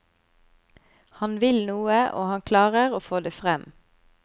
Han vil noe, og han klarer å få det frem.